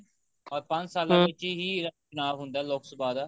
or ਪੰਜ ਸਾਲਾ ਵਿੱਚ ਹੀ ਆਪਣਾ ਹੁੰਦਾ ਲੋਕ ਸਭਾ ਦਾ